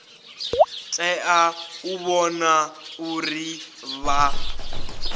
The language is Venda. tea u vhona uri vha